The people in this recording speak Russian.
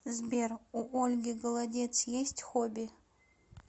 сбер у ольги голодец есть хобби